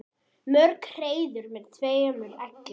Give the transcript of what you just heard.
Mörg hreiður með tveimur eggjum.